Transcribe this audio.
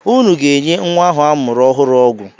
Ụnụ ga-enye nwa ahụ amụrụ ọhụrụ ọgwụ!